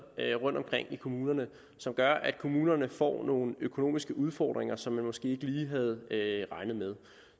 rundtomkring i kommunerne som gør at kommunerne får nogle økonomiske udfordringer som de måske ikke lige havde regnet med